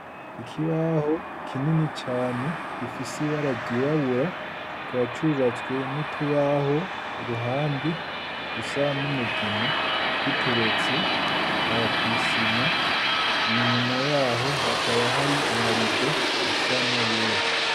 Ikibaho kinini cane gifise ibara ryirabura kika cubatswe n'utubaho iruhande dusa n'umugina giteretse aha kw'isima inyuma yaho hakaba hari amarido asana n'ayera.